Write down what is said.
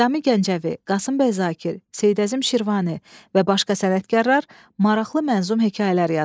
Nizami Gəncəvi, Qasım bəy Zakir, Seyid Əzim Şirvani və başqa sənətkarlar maraqlı mənzum hekayələr yazıblar.